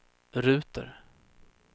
ruter